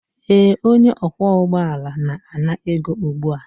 ee, onye ọkwọ ụgbọ ala na-ana ego ugbu a